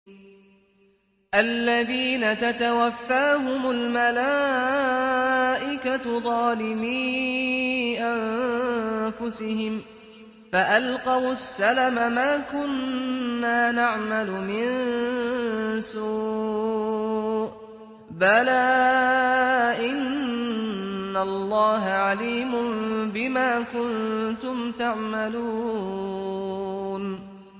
الَّذِينَ تَتَوَفَّاهُمُ الْمَلَائِكَةُ ظَالِمِي أَنفُسِهِمْ ۖ فَأَلْقَوُا السَّلَمَ مَا كُنَّا نَعْمَلُ مِن سُوءٍ ۚ بَلَىٰ إِنَّ اللَّهَ عَلِيمٌ بِمَا كُنتُمْ تَعْمَلُونَ